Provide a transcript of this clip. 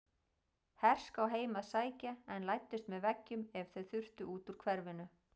Herská heim að sækja en læddust með veggjum ef þau þurftu út úr hverfinu.